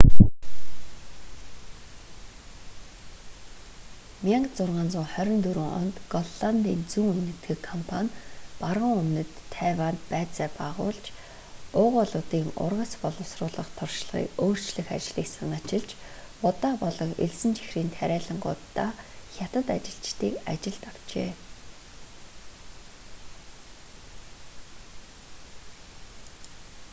1624 онд голландын зүүн энэтхэг компани баруун өмнөд тайванд баазаа байгуулж уугуулуудын ургац боловсруулах туршлагыг өөрчлөх ажлыг санаачилж будаа болон элсэн чихрийн тариалангууддаа хятад ажилчдыг ажилд авчээ